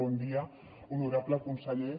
bon dia honorable conseller